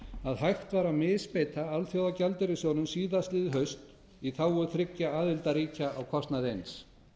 að hægt var að misbeita alþjóðagjaldeyrissjóðnum síðastliðið haust í þágu þriggja aðildarríkja á kostnað eins